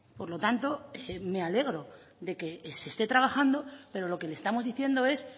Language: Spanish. por lo tanto me alegro de que se esté trabajando pero lo que le estamos diciendo es